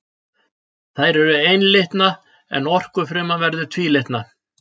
Þær eru einlitna en okfruman verður tvílitna.